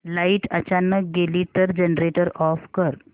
light अचानक गेली तर जनरेटर ऑफ कर